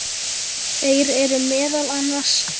Þeir eru meðal annars